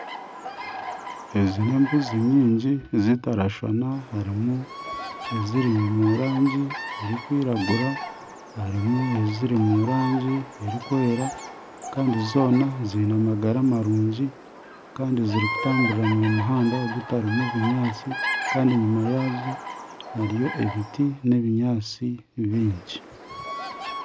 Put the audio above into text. Ezi n'embuzi nyingi zitarikushuushana harimu eziri omu rangi erikwiragura, harimu eziri omu rangi erikwera kandi zoona ziine amagara marungi kandi zirikutamburira omu muhanda gutarimu binyaatsi kandi enyuma yaazo hariyo ebiti n'ebinyaatsi bingi.